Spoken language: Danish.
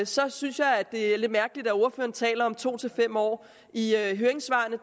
så synes jeg det er lidt mærkeligt at ordføreren taler om to fem år i det høringssvar